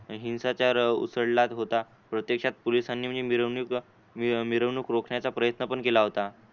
हिंसाचार उसळला होता प्रत्यक्षात पोलिसांनी म्हणजे मिरवणूक मिरवणूक रोखण्याचा प्रयत्न पण केला होता.